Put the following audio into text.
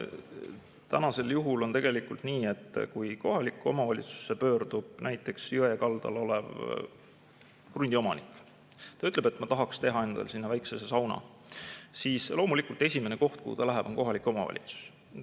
Tänasel juhul on nii, et kui kohaliku omavalitsusse pöördub näiteks jõe kaldal oleva krundi omanik ja ütleb, et ma tahaksin teha endale sinna väikese sauna, siis loomulikult esimene koht, kuhu ta läheb, on kohalik omavalitsus.